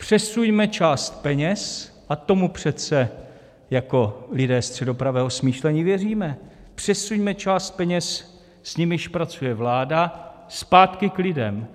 Přesuňme část peněz, a tomu přece jako lidé středopravého smýšlení věříme, přesuňme část peněz, s nimiž pracuje vláda, zpátky k lidem.